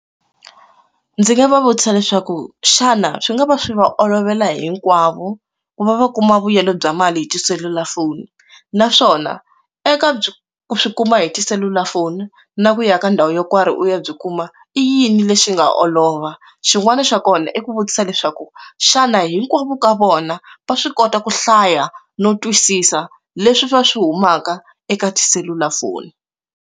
Ndzi nga va vutisa leswaku xana swi nga va swi va olovela hinkwavo ku va va kuma vuyelo bya mali hi tiselulafoni naswona eka byi swi kuma hi tiselulafoni na ku ya ka ndhawu yo nkarhi u ya byi kuma i yini lexi nga olova xin'wana xa kona i ku vutisa leswaku xana hinkwavo ka vona va swi kota ku hlaya no twisisa leswi swa swi humaka eka tiselulafoni.